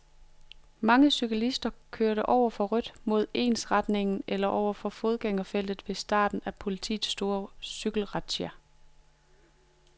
Mange cyklister kørte over for rødt, mod ensretningen eller over et fodgængerfelt ved starten på politiets store cyklistrazzia.